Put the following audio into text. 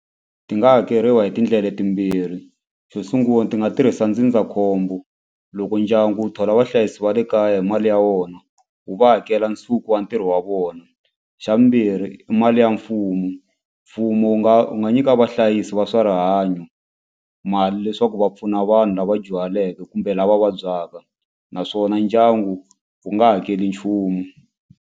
Ti nga hakeriwa hi tindlela timbirhi xo sungula ti nga tirhisa ndzindzakhombo loko ndyangu wu thola vahlayisi va le kaya hi mali ya wona wu va hakela nsuku wa ntirho wa vona. Xa vumbirhi i ma liya mfumo mfumo wu nga wu nga nyika vahlayisi va swa rihanyo mali leswaku va pfuna vanhu lava dyuhaleke kumbe lava vabyaka naswona ndyangu wu nga hakeli nchumu.